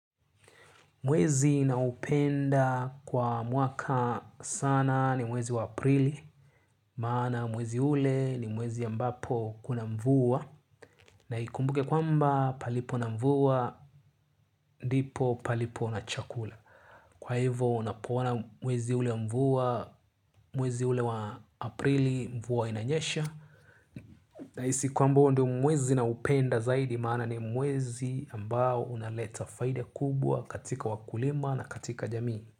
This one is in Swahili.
Mwezi naupenda kwa mwaka sana ni mwezi wa aprili, maana mwezi ule ni mwezi ambapo kuna mvua, na ikumbuke kwamba palipo na mvua, ndipo palipo na chakula. Kwa hivyo unapoona mwezi ule mvua, mwezi ule wa aprili mvua inanyesha, nahisi kwamba huo ndio mwezi naupenda zaidi maana ni mwezi ambao unaleta faida kubwa katika wakulima na katika jamii.